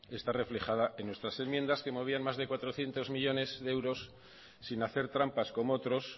está reflejada en nuestras enmiendas que movían más de cuatrocientos millónes de euros sin hacer trampas como otros